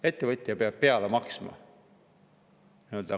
Ettevõtja peab peale maksma.